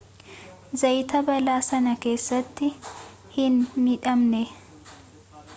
zayaat balaa sana keessatti hin miidhamne